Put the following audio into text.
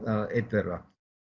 er einn þeirra